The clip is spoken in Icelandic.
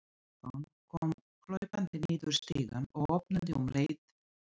Stefán kom hlaupandi niður stigann og opnaði um leið og